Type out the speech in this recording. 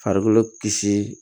Farikolo kisi